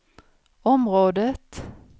området